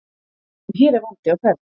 En hér er vandi á ferð.